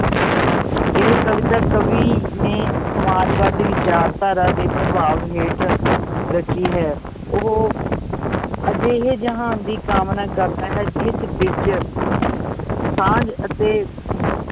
ਇਹ ਕਵਿਤਾ ਕਵੀ ਨੇ ਸਮਾਜਵਾਦੀ ਵਿਚਾਰਧਾਰਾ ਦੇ ਪ੍ਰਭਾਵ ਹੇਠ ਰਚੀ ਹੈ, ਉਹ ਅਜਿਹੇ ਜਹਾਨ ਦੀ ਕਾਮਨਾ ਕਰਦਾ ਹੈ ਜਿਸ ਵਿੱਚ ਸਾਂਝ ਅਤੇ ਅਮ